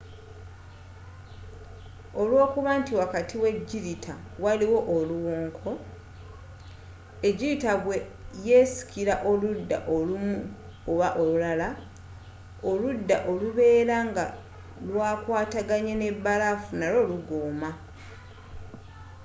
olwokuba nti wakati we jirita waliwo oluwonko ejjirita bwe yesikira oludda olumu oba olulala, oludda oluberanga lu kwataganye ne balafu n’alwo lugoma